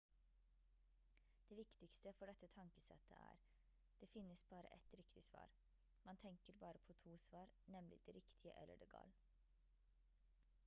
det viktigste for dette tankesettet er det finnes bare ett riktig svar man tenker bare på to svar nemlig det riktige eller det gal